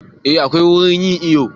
Eh akwai wurin yin iyo